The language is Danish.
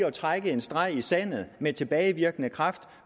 at trække en streg i sandet med tilbagevirkende kraft